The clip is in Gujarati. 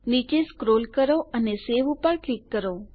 નીચે સ્ક્રોલ કરો અને સવે પર ક્લિક કરો